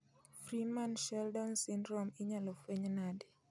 Freeman Sheldon syndrome inyalo fueny nade